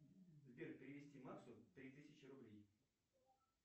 сбер перевести максу три тысячи рублей